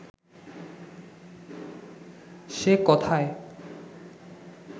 সে কথায়